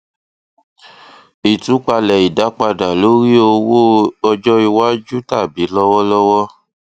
ìtúpalẹ ìdápadà lórí owó ọjọ iwájú tàbí lọwọlọwọ